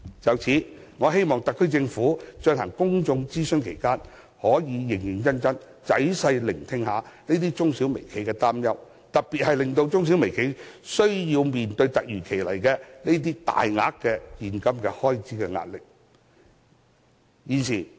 就此，我希望特區政府在進行公眾諮詢期間，能認真仔細聆聽這些中小微企的擔憂，特別是需要面對這些突如其來的大額現金開支的壓力。